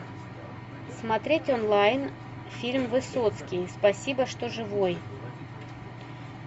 смотреть онлайн фильм высоцкий спасибо что живой